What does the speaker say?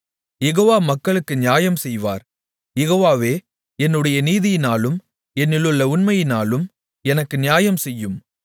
யெகோவா மக்களுக்கு நியாயம் செய்வார் யெகோவாவே என்னுடைய நீதியினாலும் என்னிலுள்ள உண்மையினாலும் எனக்கு நியாயம்செய்யும்